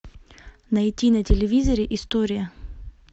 найти на телевизоре история